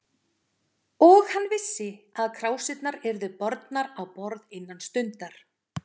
Og hann vissi, að krásirnar yrðu bornar á borð innan stundar.